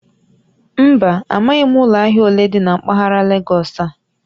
Mba, amaghim ulo ahia ole di na mpaghara Legọsị a